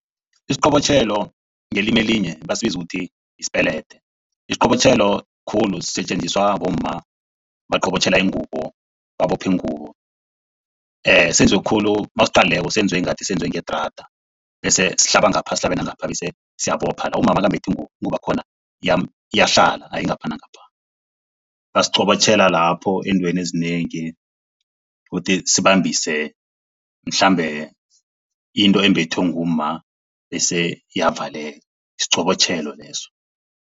Isiqobotjhelo ngelimi elinye basibiza ukuthi isipelede. Isiqobotjhelo khulu sisetjenziswa bomma baqobotjhela ingubo babophe ingubo. senziwe khulu nawusiqalileko senziwe ngathi ngedrada bese sihlaba ngapha bese sihlabe nangapha. Bese siyabopha la bese umma nakambethe ingubo, ingubo yakhona iyahlala hayi ngapha nangapha. Basiqobotjhela lapho eentweni ezinengi ukuthi sibambise mhlambe into embethwe ngumma bese iyavaleka, siqobotjhelo leso.